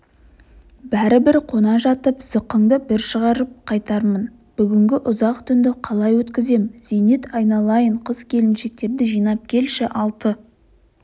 бәрібір қона жатып зықыңды бір шығарып қайтармын бүгінгі ұзақ түнді қалай өткізем зейнет айналайын қыз-келіншектерді жинап келші алты